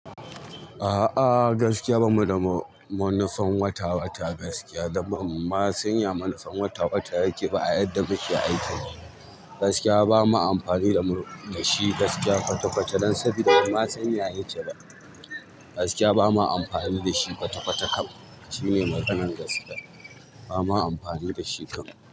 A'a, gaskiya bamu da manufan wata-wata gaskiya, da banma san ya manufan wata-wata yake ba a yadda muke aiki. Gaskiya bamu amfani da shi gaskiya kwata-kwata don saboda ba mu sanya yake ba. Gaskiya bamu amfani da shi kwata-kwata kam. Shine maganan gaskiya. Bamu amfani da shi kam.